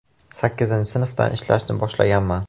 Sakkizinchi sinfdan ishlashni boshlaganman.